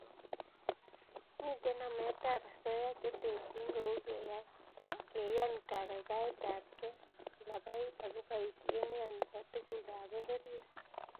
Mitei nametab osoya che terchin kou keyan kaikaikaetabkei kalabait ako boisiet neya nebo tugukab pororiet